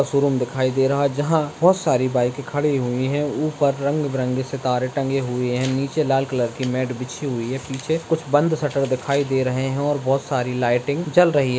showroom दिखाई दे रहा है जहाँ बहुत सारी बाइके खड़ी हुई हैं ऊपर रंग बिरंगे सितारे टंगे हुए हैं नीचे लाल कलर की मैट बिछी हुई है पीछे कुछ बंद शटर दिखाई दे रहे है और बहुत सारी लाइटिंग जल रही --